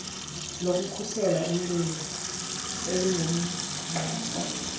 lokukhusela umlilo elingumgqatswa